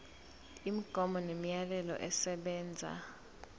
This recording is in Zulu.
imigomo nemiyalelo esebenza